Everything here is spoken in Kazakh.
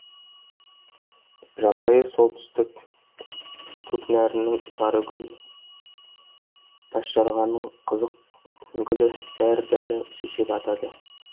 жабайы солтүстік көкнәрінің сары гүлі тасжарғанның қызық гүлі бәрі бәрі шешек атады